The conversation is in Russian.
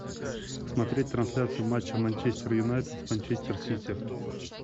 смотреть трансляцию матча манчестер юнайтед с манчестер сити